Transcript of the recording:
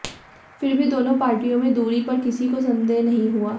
फिर भी दोनों पार्टियों में दूरी पर किसी को संदेह नहीं हुआ